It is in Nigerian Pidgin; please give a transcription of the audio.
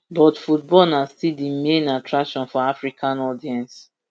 but football na still di main attraction for african audience